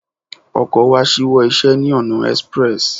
Ọkọ wa ṣíwọ́ iṣẹ́ ní ọ̀nà express.